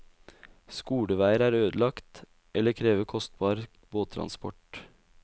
Skoleveier er ødelagt, eller krever kostbar båttransport.